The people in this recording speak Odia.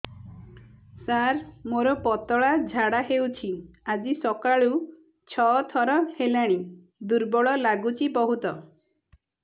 ସାର ମୋର ପତଳା ଝାଡା ହେଉଛି ଆଜି ସକାଳୁ ଛଅ ଥର ହେଲାଣି ଦୁର୍ବଳ ଲାଗୁଚି ବହୁତ